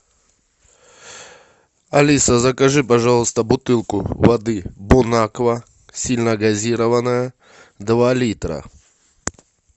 алиса закажи пожалуйста бутылку воды бонаква сильногазированная два литра